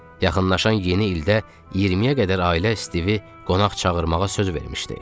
Yaxınlaşan yeni ildə 20-yə qədər ailə Stivi qonaq çağırmağa söz vermişdi.